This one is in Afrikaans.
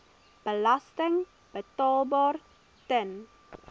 belasting betaalbaar ten